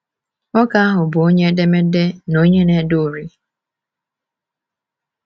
Nwoke ahụ bụ onye edemede na onye na-ede uri.